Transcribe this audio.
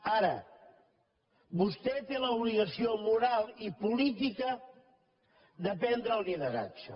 ara vostè té l’obligació moral i política de prendre el lideratge